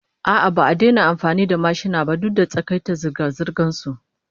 A'a, ba a daina amfani da mashina ba duk da takaita zirga-zirgan su